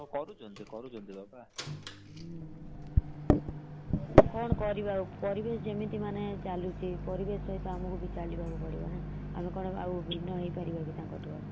କରୁଛନ୍ତି କରୁଛନ୍ତି ପରା ।